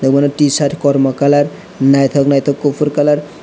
obono t shirt kormo colour naithok naithok kuphur colour.